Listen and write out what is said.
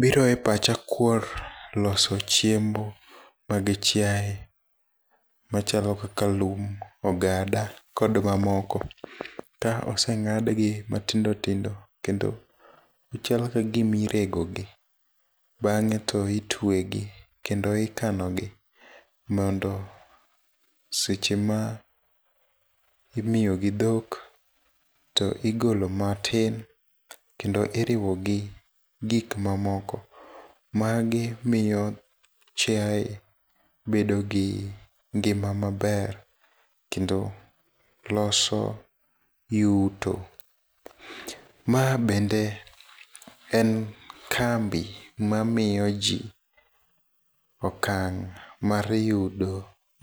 Biro e pacha kuor loso chiemb mag chiaye, machalo kaka lum, ogada kod mamoko. Ka oseng'adgi matindo tindo kendo gichalo kagima iregogi. Bang'e to itwegi kendo ikanogi, mondo sechema imiyogi dhok to igolo matin, kendo iriwogi gikmamoko. Magimiyo chiaye bedogi ngima maber, kendo loso yuto. Ma bende en kambi mamiyo jii okang' mar yudo